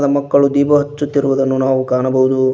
ಮಕ್ಕಳು ದೀಪ ಹಚ್ಚುತ್ತಿರುವುದನ್ನು ನಾವು ಕಾಣಬಹುದು.